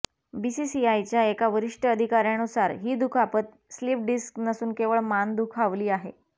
बीसीसीआयच्या एका वरिष्ठ अधिकाऱयानुसार ही दुखापत स्लीप डिस्क नसून केवळ मान दुखावली आहे